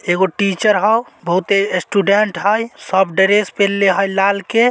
एगो टीचर हउ --बहुते स्टूडेंट हाइ सब ड्रेस पहिनले हे लाल के--